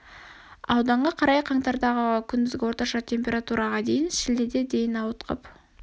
ауданға қарай қаңтардағы күндізгі орташа температураға дейін шілдеде дейін ауытқып